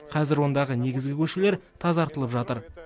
қазір ондағы негізгі көшелер тазартылып жатыр